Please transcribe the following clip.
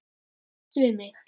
Viltu slást við mig?